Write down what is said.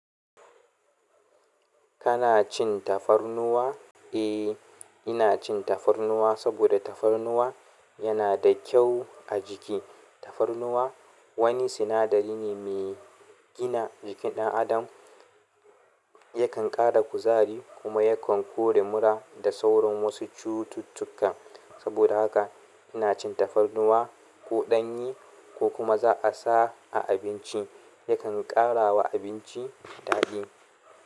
Kana cin tafarnuwa? Eh, ina cin tafarnuwa saboda tafarnuwa yana da kyau a jiki. Tafarnuwa wani sinadari ne me gina jikin ɗan adam. Yakan ƙara kuzari kuma yakan kori mura da sauran wasu cututtuka. Saboda haka ina cin tafarnuwa ko ɗanye ko kuma za a sa a abinci. Yakan ƙara wa abinci daɗi.